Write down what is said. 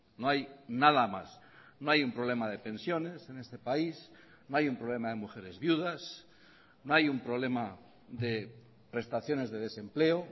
no hay nada más no hay un problema de pensiones en este país no hay un problema de mujeres viudas no hay un problema de prestaciones de desempleo